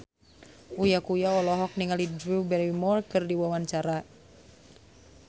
Uya Kuya olohok ningali Drew Barrymore keur diwawancara